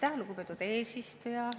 Aitäh, lugupeetud eesistuja!